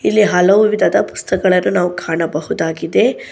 ಇಲ್ಲಿ ಹಲವು ವಿಧದ ಪುಸ್ತಕಳನ್ನು ನಾವು ಕಾಣಬಹುದಾಗಿದೆ.